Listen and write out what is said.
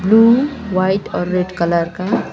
room white और red colour का --